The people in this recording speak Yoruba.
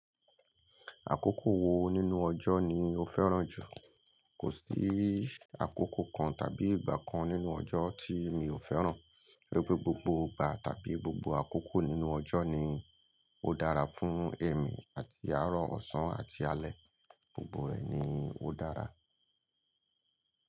Àkókò wo nínú ọjọ́ ni o fẹ́ràn jù? Kò sí àkókò kan tàbí ìgbà kan nínú ọjọ́ tí mi ò fẹ́ràn. Gbogbo gbogbo ìgbà tàbí gbogbo àkókò nínú ọjọ́ ni ó dára fún èmi àti àárọ̀, ọ̀sán, àti alẹ́, gbogbo rẹ̀ ni ó dára.